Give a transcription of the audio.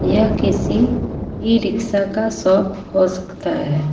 यह किसी e rickshaw का शॉप हो सकता है।